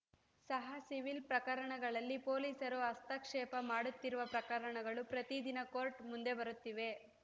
ಸಹ ಸಿವಿಲ್‌ ಪ್ರಕರಣಗಳಲ್ಲಿ ಪೊಲೀಸರು ಹಸ್ತಕ್ಷೇಪ ಮಾಡುತ್ತಿರುವ ಪ್ರಕರಣಗಳು ಪ್ರತಿ ದಿನ ಕೋರ್ಟ್‌ ಮುಂದೆ ಬರುತ್ತಿವೆ